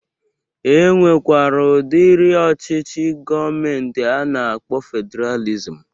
E nwekwere udiri ọchịchị gọọmenti a na-akpọ fedralizm